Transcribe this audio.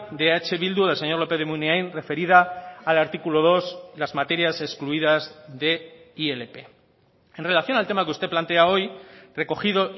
de eh bildu del señor lópez de munain referida al artículo dos las materias excluidas de ilp en relación al tema que usted plantea hoy recogido